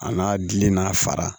A n'a gili n'a fara